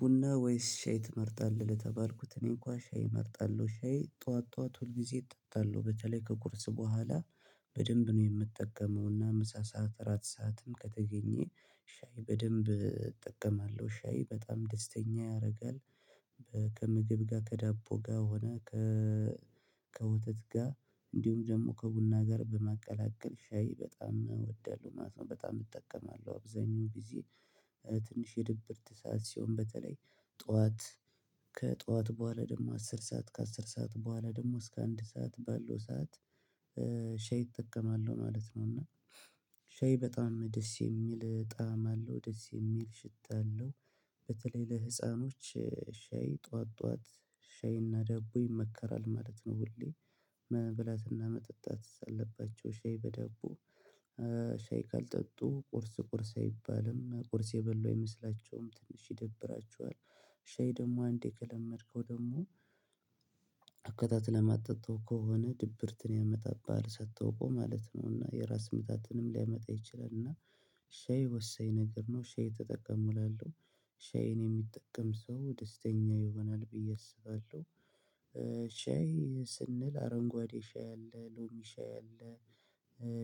ቡና ወይስ ሻይ ትመርጣለህ? ለተባልኩት እኔ እንኳን ሻይ እመርጣለሁ ሻይ ጠዋት ጠዋት ሁል ጊዜ እጠጣለሁ በተለይ ከቁርስ በኋላ በደንብ ነው የምጠቀመው እና ምሳ ሰዓት እራት ሰዓትም ከተገኘ ሻይ በደንብ እጠቀማለሁ ሻይ በጣም ደስተኛ ያደርጋል። ከምግብ ጋር ከዳቦ ጋር ሆነ ከ ከወተት ጋር እንዲሁም ደግሞ ከቡና ጋር በማቀላቀል ሻይ በጣም እወዳለሁ ማለት ነው። በጣም እጠቀማለሁ አብዛኛው ጊዜ ትንሽ የድብርት ሰዓት ሲሆን በተለይ ጠዋት ከጠዋት በኋላ ደግሞ አስር ሰዓት ከአስር ሰዓት በኋላ ደግሞ እስከ አንድ ሰዓት ባለው ሰዓት ሻይ እጠቀማለሁ ማለት ነው። እና ሻይ በጣም ደስ የሚል ጣዕም አለው ደስ የሚል ሽታ አለው። በተለይ ለህፃኖች ሻይ ጠዋት ጠዋት ሻይና ደቦ ይመከራል ማለት ነው። ሁሌ መብላትና መጠጣት አለባቸው ሻይ በደቦ ሻይ ካልጠጡ ቁርስ ቁርስ አይባልም ቁርስ የበሉ አይመስላቸውም ትንሽ ይደብራቸዋል። ሻይ ደግሞ አንዴ ከለመድከው ደግሞ አከተትለህ ማጠጣው ከሆነ ድብርትን ያመጣብሃል ሳታውቀው ማለት ነው። እና የራስ ምታትንም ሊያመጣ ይችላል እና ሻይ ወሰኝ ነገር ነው ሻይ ተጠቀምላለሁ ሻይን የሚጠቀም ሰው ደስተኛ ይሆናል ብዬ አስባለሁ። ሻይ ስንል አረንጓዴ ሻይ አለ ሎሚ ሻይ አለ።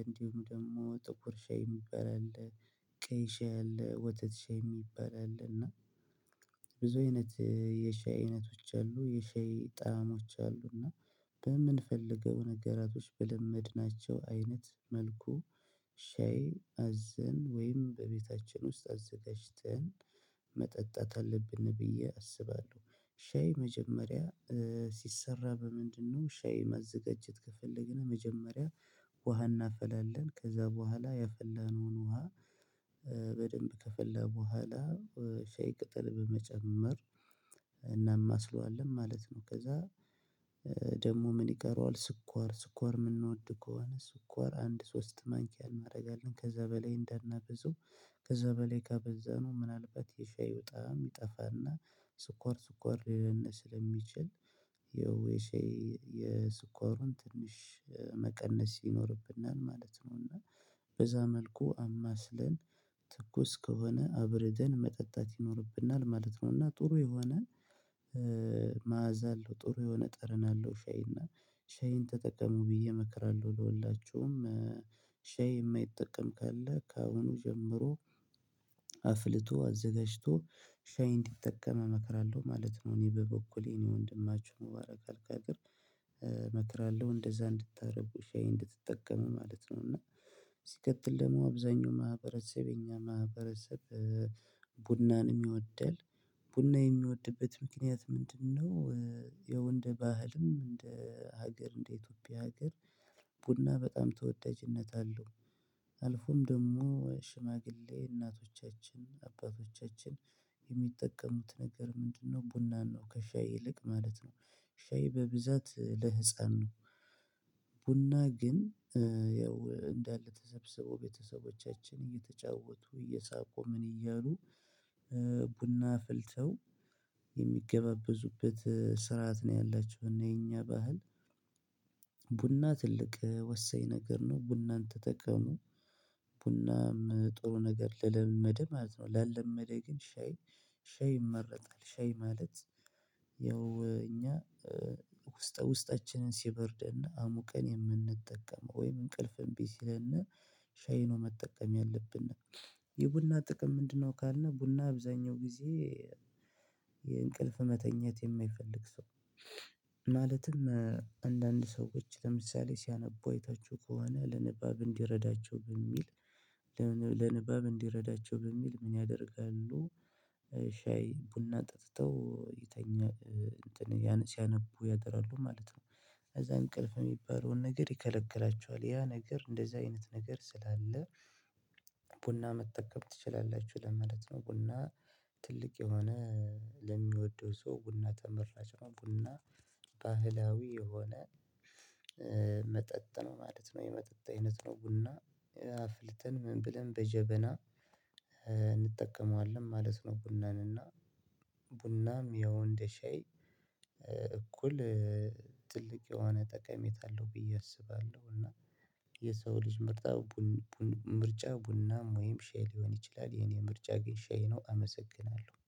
እንዲሁም ደግሞ ጥቁር ሻይ የሚባል አለ። ቀይ ሻይ አለ ወተት ሻይ የሚባል አለ እና ብዙ አይነት የሻይ አይነቶች አሉ የሻይ ጣዕሞች አሉ እና። በምንፈልገው ነገራቶች በለመድናቸው አይነት መልኩ ሻይ አዘን ወይም በቤታችን ውስጥ አዘጋጅተን መጠጣት አለብን ብዬ አስባለሁ። ሻይ መጀመሪያ ሲሰራ በምንድነው? ሻይ ማዘጋጀት ከፈለግን መጀመሪያ ውሃ እናፈላለን ከዛ በኋላ የፈለነውን ውሃ በደንብ ከፈለ በኋላ ሻይ ቅጠል በመጨመር እናማስለዋለን ማለት ነው። ከዚያ ደግሞ ምን ይቀረዋል? ስኳር ስኳር የምንወድ ከሆነ ስኳር አንድ ሶስት ማንኪያ እናደርጋለን ከዚያ በላይ እንዳናበዘው ከዚያ በላይ ከበዘነው ምናልባት የሻይ ጣዕም ይጠፋና ስኳር ስኳር ሊለን ስለሚችል ያው የሻይ የስኳሩን ትንሽ መቀነስ ይኖርብናል ማለት ነው። እና በዛ መልኩ አማስለን ትኩስ ከሆነ አብረደን መጠጣት ይኖርብናል ማለት ነው። እና ጥሩ የሆነ መዓዛ አለው ጥሩ የሆነ ጠረን አለው ሻይ እና ሻይን ተጠቀመው ብዬ እመክራለሁ። ለሁላችሁም ሻይ የማይጠቀም ካለ ከአሁኑ ጀምሮ አፊልቶ አዘጋጅቶ ሻይ እንዲጠቀም እመክራለሁ ማለት ነው። እኔ በበኩሌ እኔ ወንድማችሁ ሙባራክ አልቀቅር እመክራለሁ እንደዛ እንድታደርጉ ሻይ እንድትጠቀሙ ማለት ነው። እና ሲቀጥል ደግሞ አብዛኛው ማህበረሰብ የእኛ ማህበረሰብ ቡናን ይወደል ቡና የሚወድበት ምክንያት ምንድነው? የወንድ ባህልም እንደ ሀገር እንደ ኢትዮጵያ ሀገር ቡና በጣም ተወዳጅነት አለው። አልፎም ደግሞ ሽማግሌ እናቶቻችን አባቶቻችን የሚጠቀሙት ነገር ምንድነው ቡናን ነው። ከሻይ ይልቅ ማለት ነው ሻይ በብዛት ለህፃን ነው። ቡና ግን ያው እንዳለ ተሰብስበው ቤተሰቦቻችን እየተጫወቱ እየሳቁ ምን እያሉ ቡና አፍልተው የሚገበበዙበት ስርዓት ነው። ያላቸው እና የእኛ ባህል ቡና ትልቅ ወሰኝ ነገር ነው። ቡናን ተጠቀሙ ቡናም ጥሩ ነገር ለለመደ ማለት ነው። ላለመደ ግን ሻይ ሻይ ይመረጣል ሻይ ማለት። ያው እኛ ውስጠ ውስጠችንን ሲበርድና አሙቀን የምንጠቀመው ወይም እንቅልፍ እንብ ስለን ሻይ ነው መጠቀም ያለብን። የቡና ጥቅም ምንድነው? ካልን ቡና አብዛኛው ጊዜ መተኛት የማይፈልግ ሰው ማለትም አንዳንድ ሰዎች ለምሳሌ ሲያነቡ አይታችሁ ከሆነ ለንባብ እንዲረዳቸው በሚል ለንባብ እንዲረዳቸው በሚል ምን ያደርጋሉ ሻይ ቡና ጠጥተው ይተኛሉ እንትን ሲያነቡ ያድራሉ ማለት ነው። ከዚያ እንቅልፍ የሚባለውን ነገር ይከለክላቸዋል ያ ነገር እንደዚያ አይነት ነገር ስላለ ቡና መጠቀም ትችላላችሁ። ለምንድነው? ቡና ትልቅ የሆነ ለሚወደው ሰው ቡና ተመራጭ ነው። ቡና ባህላዊ የሆነ ነው ማለት ነው። የመጠጥ አይነት ነው ቡና አፍልተን ምን ብለን በጀበና እንጠቀመዋለን ማለት ነው። ቡናን እና ቡናም ያው እንደ ሻይ እኩል ትልቅ የሆነ ጠቀሜታ አለው ብዬ አስባለሁ። እና የሰው ልጅ ምርጣ ምርጫ ቡናም ወይም ሻይ ሊሆን ይችላል። የእኔ ምርጫ ግን ሻይ ነው። አመሰግናለሁ